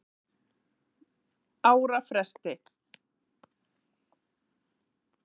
ára fresti.